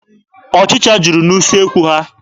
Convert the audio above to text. Ọchịcha juru n'usekwu ha.